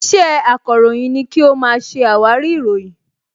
Iṣẹ́ akọ̀ròyìn ni kí ó máa ṣe àwárí ìròyìn